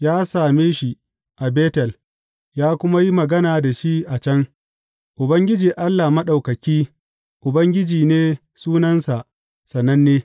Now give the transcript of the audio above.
Ya same shi a Betel ya kuma yi magana da shi a can, Ubangiji Allah Maɗaukaki, Ubangiji ne sunansa sananne!